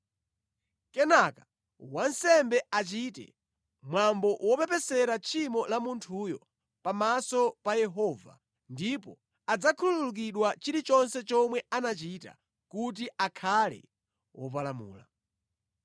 Kenaka wansembe achite mwambo wopepesera tchimo la munthuyo pamaso pa Yehova, ndipo adzakhululukidwa chilichonse chomwe anachita kuti akhale wopalamula.”